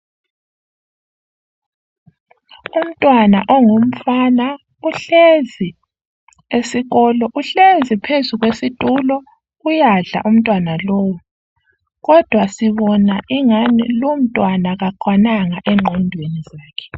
Umntwana ongumfana uhlezi esikolo uhlezi phezu kwesitulo uyadla umntwana lowu kodwa sibona ingani lumntwana kakwananga engqondweni.